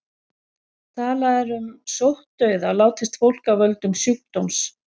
Talað er um sóttdauða látist fólk af völdum sjúkdóms.